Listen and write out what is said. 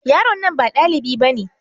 Yaron nan ba dalibi bane.